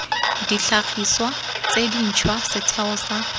ditlhagiswa tse dintšhwa setheo sa